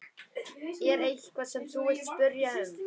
Er eitthvað sem þú vilt spyrja um?